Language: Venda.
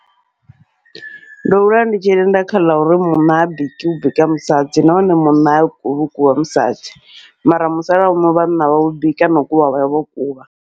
Ndo hula ndi tshi tenda kha ḽa uri munna ha biki hu bika musadzi, nahone munna ha kuvhi hu kuvha musadzi mara musalauno vhanna vhavho bika nau kuvha vhavho kuvha.